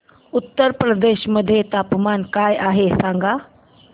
उत्तर प्रदेश मध्ये तापमान काय आहे सांगा